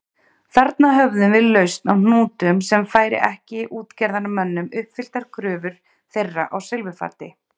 Þarna höfum við lausn á hnútnum sem færir ekki útgerðarmönnum uppfylltar kröfur þeirra á silfurfati.